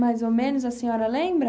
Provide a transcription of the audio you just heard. Mais ou menos a senhora lembra?